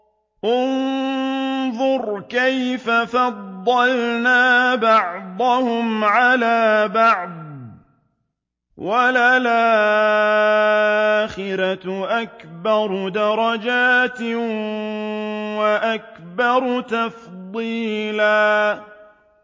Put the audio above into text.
انظُرْ كَيْفَ فَضَّلْنَا بَعْضَهُمْ عَلَىٰ بَعْضٍ ۚ وَلَلْآخِرَةُ أَكْبَرُ دَرَجَاتٍ وَأَكْبَرُ تَفْضِيلًا